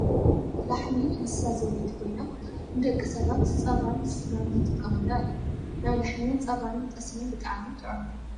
ላሕሚ እንስሳ ዘቤት ኮይና ፣ ንደቂ ሰባት ፃባን ስጋን ዝጥቀሙላ እያ ። ናይ ላሕሚ ፃባን ጠስምን ብጣዕሚ ጥዑም እዩ ።